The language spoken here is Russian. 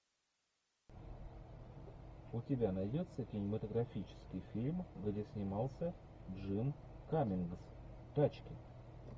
у тебя найдется кинематографический фильм где снимался джим каммингс тачки